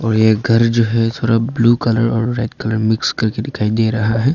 ये घर जो है थोड़ा blue colour red colour mix करके दिखाई दे रहा है।